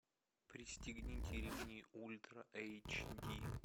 пристегните ремни ультра эйч ди